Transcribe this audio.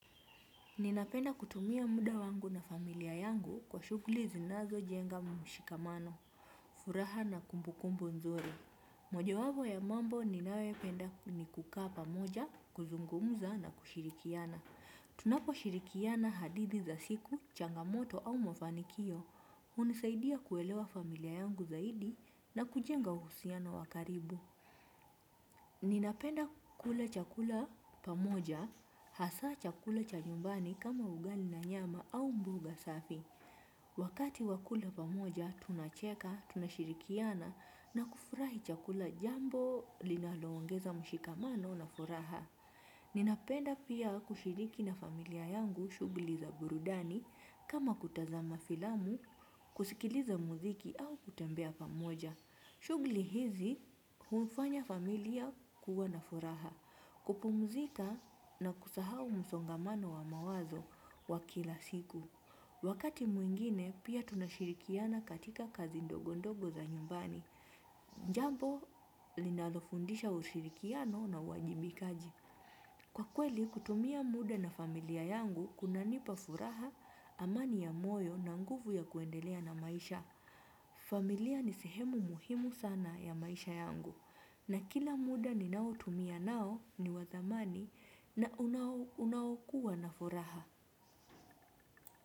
Ninapenda kutumia muda wangu na familia yangu kwa shuguli zinazo jenga mshikamano, furaha na kumbu kumbu nzuri. Moja wapo ya mambo ninayo penda ni kukaa pamoja, kuzungumza na kushirikiana. Tunapo shirikiana hadithi za siku, changamoto au mafanikio. Hunisaidia kuelewa familia yangu zaidi na kujenga uhusiano wakaribu. Ninapenda kula chakula pamoja, hasa chakula cha nyumbani kama ugali na nyama au mboga safi. Wakati wa kula pamoja, tunacheka, tunashirikiana na kufurahi chakula jambo linaloongeza mshikamano na furaha. Ninapenda pia kushiriki na familia yangu shugli za burudani kama kutazama filamu, kusikiliza muziki au kutembea pamoja. Shugli hizi, hufanya familia kuwa na furaha, kupumzika na kusahau msongamano wa mawazo wa kila siku. Wakati mwingine, pia tunashirikiana katika kazi ndogondogo za nyumbani. Jambo, linalofundisha ushirikiano na uwajibikaji. Kwa kweli, kutumia muda na familia yangu, kunanipa furaha, amani ya moyo na nguvu ya kuendelea na maisha. Familia ni sehemu muhimu sana ya maisha yangu na kila muda ninaotumia nao ni wa dhamani na unaokuwa na furaha.